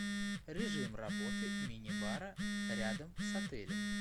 режим работы минибара рядом с отелем